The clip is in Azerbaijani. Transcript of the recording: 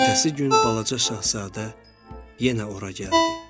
Ertəsi gün balaca şahzadə yenə ora gəldi.